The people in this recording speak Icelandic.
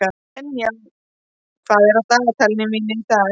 Enja, hvað er á dagatalinu mínu í dag?